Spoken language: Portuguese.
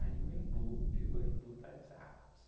Aí o Embu, virou o Embu das Artes.